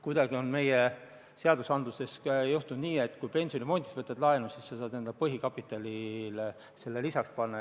Kuidagi on meie seaduste tegemisel juhtunud nii, et kui pensionifondist võtad laenu, siis saad selle enda põhikapitalile lisaks panna.